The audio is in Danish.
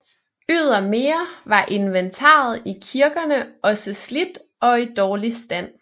Ydermere var inventaret i kirkerne også slidt og i dårlig stand